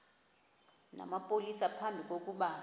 namapolisa phambi kokuba